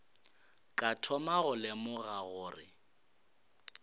ka thoma go lemoga gore